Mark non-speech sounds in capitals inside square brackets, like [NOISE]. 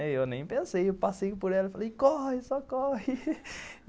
Eu nem pensei, eu passei por ela e falei, corre, só corre [LAUGHS]